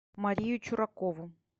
марию чуракову